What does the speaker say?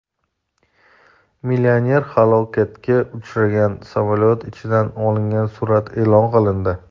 Millioner halokatga uchragan samolyot ichidan olingan surat e’lon qilindi.